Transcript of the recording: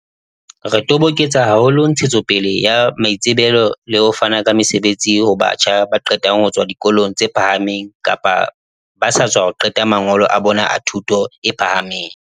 "Re toboketsa haholo ntshetsopele ya maitsebelo le ho fana ka mesebetsi ho batjha ba qetang ho tswa dikolong tse phahameng kapa ba sa tswa qeta mangolo a bona a thuto e pha hameng."